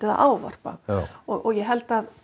að ávarpa ég held að